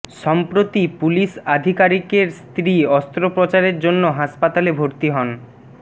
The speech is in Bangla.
সম্প্রতি পুলিশ আধিকারিকের স্ত্রী অস্ত্রোপচারের জন্য হাসপাতালে ভর্তি হন